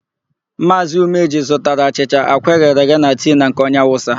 Maazị Umeji zụtara achịcha, àkwá eghere eghe na tii na nke onye Awụsa.